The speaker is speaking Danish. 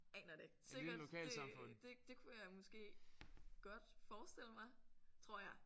Aner det ikke sikkert det det det kunne jeg måske godt forestille mig tror jeg